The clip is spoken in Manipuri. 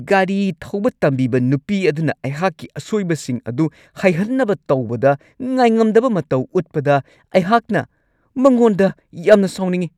ꯒꯥꯔꯤ ꯊꯧꯕ ꯇꯝꯕꯤꯕ ꯅꯨꯄꯤ ꯑꯗꯨꯅ ꯑꯩꯍꯥꯛꯀꯤ ꯑꯁꯣꯏꯕꯁꯤꯡ ꯑꯗꯨ ꯍꯩꯍꯟꯅꯕ ꯇꯧꯕꯗ ꯉꯥꯏꯉꯝꯗꯕ ꯃꯇꯧ ꯎꯠꯄꯗ ꯑꯩꯍꯥꯛꯅ ꯃꯉꯣꯟꯗ ꯌꯥꯝꯅ ꯁꯥꯎꯅꯤꯡꯉꯤ ꯫